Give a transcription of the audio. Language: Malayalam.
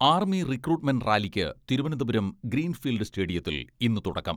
ആർമി റിക്രൂട്ട്മെന്റ് റാലിക്ക് തിരുവനന്തപുരം ഗ്രീൻ ഫീൽഡ് സ്റ്റേഡിയത്തിൽ ഇന്ന് തുടക്കം.